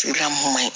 Sira mun man ɲi